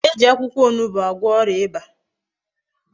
E ji akwukwo onugbu agwo oria Iba